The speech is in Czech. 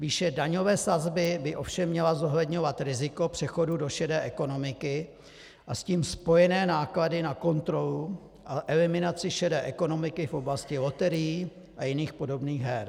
Výše daňové sazby by ovšem měla zohledňovat riziko přechodu do šedé ekonomiky a s tím spojené náklady na kontrolu a eliminaci šedé ekonomiky v oblasti loterií a jiných podobných her.